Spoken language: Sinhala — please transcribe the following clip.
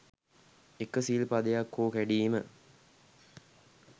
එක සිල් පදයක් හෝ කැඩීම